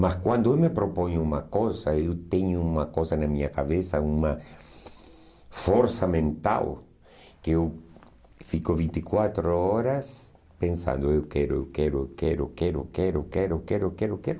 Mas quando eu me proponho uma coisa, eu tenho uma coisa na minha cabeça, uma força mental, que eu fico vinte e quatro horas pensando, eu quero, eu quero, eu quero, eu quero, eu quero, eu quero, eu quero, eu quero, eu quero.